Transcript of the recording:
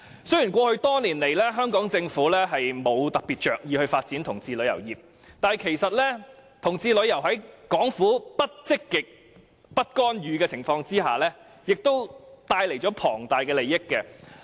雖然過去多年來，香港政府沒有着意發展同志旅遊業，但其實同志旅遊業在港府不積極發展、亦不干預的情況下，也為香港帶來龐大收益。